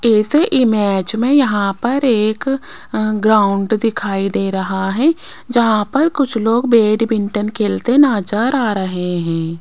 ऐसे इमेज में यहां पर एक ग्राउंड दिखाई दे रहा है जहां पर कुछ लोग बैडमिंटन खेलते नजर आ रहे हैं।